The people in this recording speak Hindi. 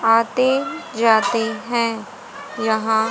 आते जाते हैं यहां--